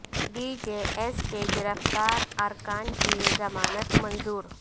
D J S کے گرفتار ارکان کی ضمانت منظور